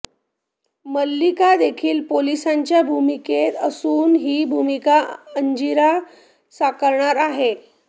मल्लिका देखील पोलिसाच्या भूमिकेत असून ही भूमिका अंजिरा साकारणार आहे